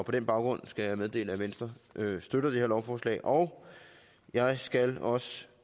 på den baggrund skal jeg meddele at venstre støtter det her lovforslag og jeg skal også